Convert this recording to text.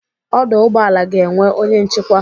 Ọdọ ụgbọala ga-enwe onye nchikwa.